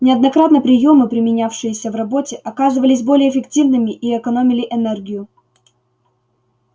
неоднократно приёмы применявшиеся в работе оказывались более эффективными и экономили энергию